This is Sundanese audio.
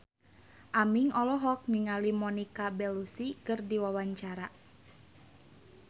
Aming olohok ningali Monica Belluci keur diwawancara